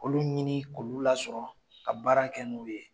Olu ɲini k'olu lasɔrɔ ka baara kɛ n'u ye.